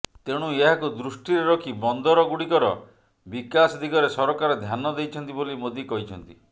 ତେଣୁ ଏହାକୁ ଦୃଷ୍ଟିରେ ରଖି ବନ୍ଦରଗୁଡ଼ିକର ବିକାଶ ଦିଗରେ ସରକାର ଧ୍ୟାନ ଦେଇଛନ୍ତି ବୋଲି ମୋଦି କହିଛନ୍ତି